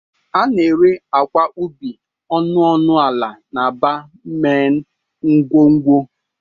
A na-ere akwa ubi ọnụ ọnụ ala n'aba main ngwugwu.